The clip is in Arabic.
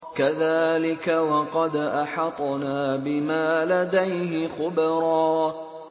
كَذَٰلِكَ وَقَدْ أَحَطْنَا بِمَا لَدَيْهِ خُبْرًا